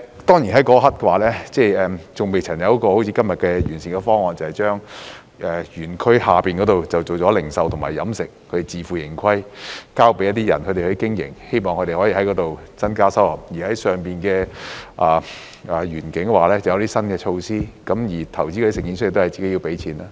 當然，在那一刻尚未有一個好像今天的完善方案，即是把山下園區改為零售和飲食，並自負盈虧，交給私人發展商經營，希望可以從那裏增加收入；而山上園區則設有一些新措施，而投資者或營辦商亦要自行出資。